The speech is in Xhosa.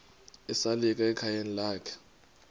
esalika ekhayeni lakhe